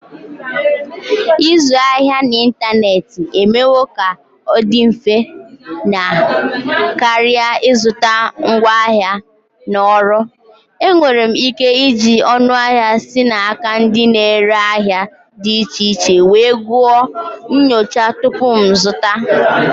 Ịzụ ahịa n'ịntanetị emewo ka ọ dị mfe na karịa ịzụta ngwaahịa na ọrụ. Enwere m ike iji ọnụahịa si n'aka ndị na-ere ahịa dị iche iche wee gụọ nyocha tupu m azụta.